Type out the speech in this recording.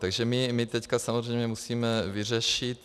Takže my teď samozřejmě musíme vyřešit...